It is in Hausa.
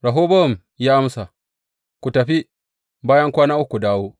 Rehobowam ya amsa, Ku tafi, bayan kwana uku, ku dawo.